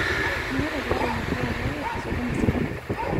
Meeta ilairemok loorpayek sokoni sidai